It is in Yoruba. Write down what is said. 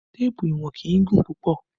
Téèpù ìwọ̀n kì í gùn púpọ̀